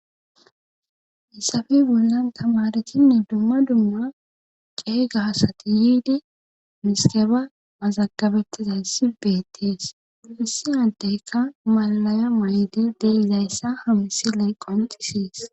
hayisape bollan tamaresinne duma duma qeega asati yiidi miskeba mazagabettizayssi beettis hissi hanteyka malalaya may7ydi deizayssa hamsilee qonisees